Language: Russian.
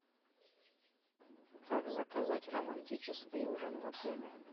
как заказать романтический ужин в отеле